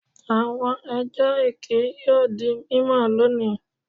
Awọn ẹjọ eke yoo di mimọ loni